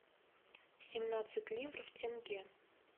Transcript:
семнадцать ливров в тенге